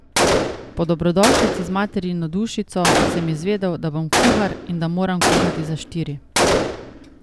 Po dobrodošlici z materino dušico sem izvedel, da bom kuhar in da moram kuhati za štiri.